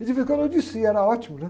Ele ficou no, era ótimo, né?